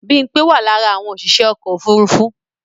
Bímpé wà lára àwọn òṣìṣẹ́ ọkọ̀ ofúrufú